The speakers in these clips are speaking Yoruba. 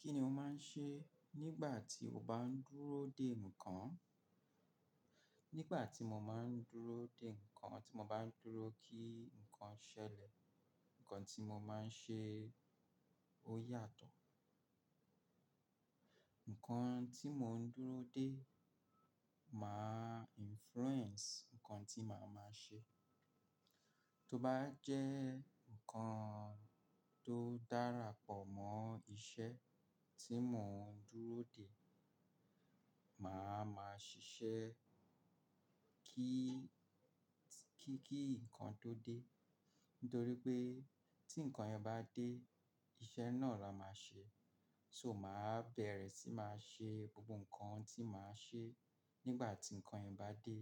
Kí ni o máa ń ṣe nígbà tí o bá ń dúró dè nǹkan? Nígbà tí mo máa ń dúró dè nǹkan, tí mo bá ń dúró kí nǹkan ṣẹlẹ̀, nǹkan tí mo máa ń ṣe ó yàtọ̀. Nǹkan tí mò ń dúró dè máa influence nǹkan tí màá máa ṣe. Tó bá jẹ́ nǹkan tó dára pọ̀ mọ́ iṣẹ́ tí mò ń dúró dè, màá máa ṣiṣẹ́ kí, kí, kí nǹkan tó dé. Nítorí pé tí nǹkan yẹn bá dé, iṣẹ́ náà la máa ṣe. So ma bẹ̀rẹ̀ sí ma ṣe gbogbo nkan tí ma ṣe nígbà tí nkan yẹn bá dé.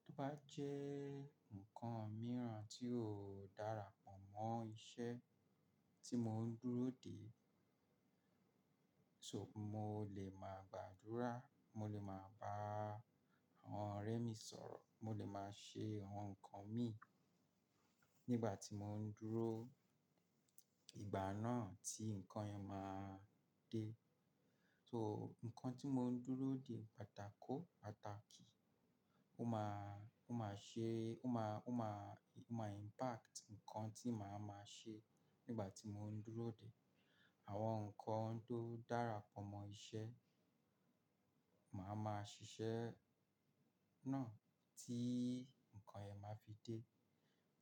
Tí ó bá jẹ́ nǹkan mìíràn tí ò dára pọ̀ mọ́ iṣẹ́ tí mò ń dúró dè, so mo lè máa gbàdúrà, mo lè máa bá àwọn ọ̀rẹ́ mi sọ̀rọ̀, mo lè máa ṣe àwọn nǹkan mi nígbà tí mò ń dúró ìgbà náà tí nǹkan yẹn máa dé. So nǹkan tí mò ń dúró dè pàtàkò, pàtàkì. Ó máa, ó máa ṣe, ó máa, ó maa, ó máa impact nǹkan tí màá máa ṣe nígbà tí mò ń dúró dè. Àwọn nǹkan tó dára pọ̀ mọ́ iṣẹ́, màá máa ṣiṣẹ́ náà tí nǹkan yẹn máa fi dé.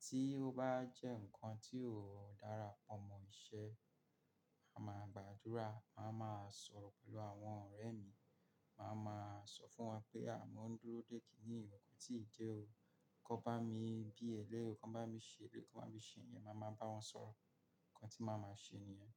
Tí ó bá jẹ́ nǹkan tí ò dára pọ̀ mọ́ iṣẹ́, màá máa gbàdúrà, màá máa sọ̀rọ̀ pẹ̀lú àwọn ọ̀rẹ́ mi, màá máa sọ fún wọn pé "à mò ń dúró dè kíníyi koti de o. Kọ bá mi bi ẹlẹ́ o, kọ bá mi ṣẹ́lẹ́ o, kọ bá mi ṣe ìyẹn", màá máa bá wọn sọ̀rọ̀. Nǹkan tí màá máa ṣe nìyẹn.